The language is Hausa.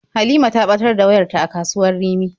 Halima ta ɓatar da wayarta a kasuwar Rimi.